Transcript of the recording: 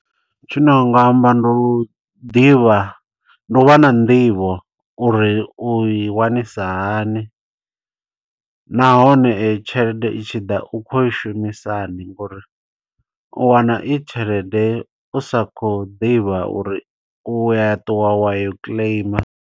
Tshine wanga amba ndi u ḓivha, ndi u vha na nḓivho uri u i wanisisa hani. Nahone eyi tshelede i tshi ḓa, u khou i shumisa ni, ngo uri u wana i tshelede u sa khou ḓivha uri u ya ṱuwa wa yo claim.